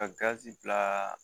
Ka gazi bila